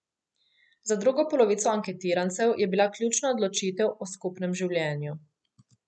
Za drugo polovico anketirancev je bila ključna odločitev o skupnem življenju.